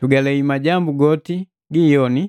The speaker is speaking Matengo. Tugalei majambu goti gi iyoni